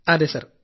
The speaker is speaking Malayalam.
അതേ സർ